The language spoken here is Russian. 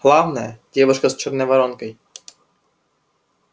главное девушка с чёрной воронкой